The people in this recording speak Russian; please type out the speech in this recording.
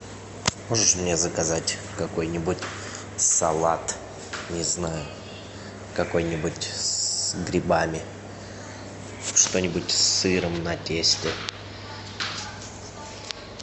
можешь мне заказать какой нибудь салат не знаю какой нибудь с грибами что нибудь с сыром на тесте